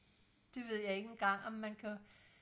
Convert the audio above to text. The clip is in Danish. det ved jeg ikke engang om man kan